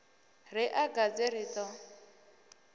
ri a gadze ri ḓo